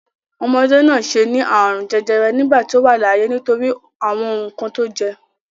Omọdé náà ṣe ní àrùn jẹjẹrẹ nígbà tí ó wà láyé nítorí àwọn nǹkan tí ó jẹ.